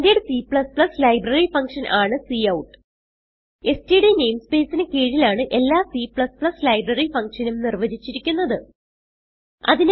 standard C library function ആണ് cout STD namespace ന് കീഴിലാണ് എല്ലാ C ലൈബ്രറി ഫങ്ഷൻ ഉം നിർവചിച്ചിരിക്കുന്നത്